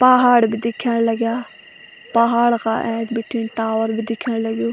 पहाड़ भी दिखेंण लग्याँ पहाड़ का ऐंच बीटिंन टावर भी दिखेंण लग्युं।